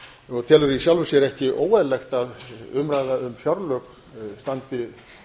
og telur í sjálfu sér ekki óeðlilegt að umræða um fjárlög standi